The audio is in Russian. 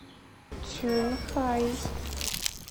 цюнхай